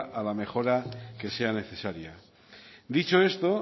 a la mejora que sea necesaria dicho esto